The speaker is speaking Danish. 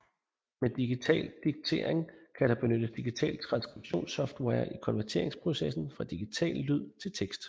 Med digital diktering kan der benyttes digital transkribtions software i konverteringsprocessen fra digital lyd til tekst